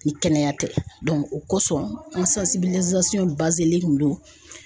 Ni kɛnɛya tɛ o kosɔn don.